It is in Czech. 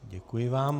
Děkuji vám.